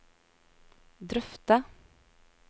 drøfte